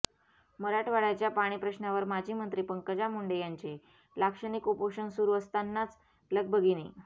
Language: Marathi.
मराठवाड्याच्या पाणी प्रश्नावर माजी मंत्री पंकजा मुंडे यांचे लाक्षणिक उपोषण सुरू असतांनाच लगबगीने